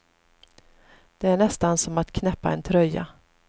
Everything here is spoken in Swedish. Det är nästan som att knäppa en tröja.